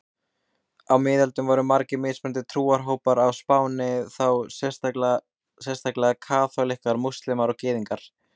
Á miðöldum voru margir mismunandi trúarhópar á Spáni, þá sérstaklega kaþólikkar, múslímar og gyðingar.